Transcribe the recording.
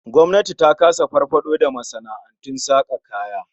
Gwamnati ta kasa farfado da masana'antun saka kaya.